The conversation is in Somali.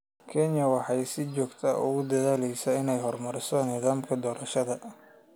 Kenya waxay si joogto ah ugu dadaalaysaa inay horumariso nidaamka doorashada.